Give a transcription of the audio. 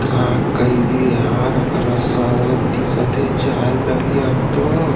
क कही भी यार अकरा स दिखत हे जाये लगही अब तो--